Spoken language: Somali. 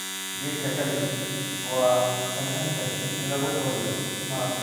Khadka cabbage waa sahlan tahay in lagu kariyo maraq.